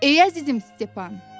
Ey əzizim Stepan!